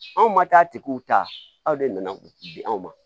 Anw ma taa tigiw ta aw de nana di anw ma